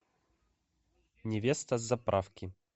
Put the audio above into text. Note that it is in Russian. невеста с заправки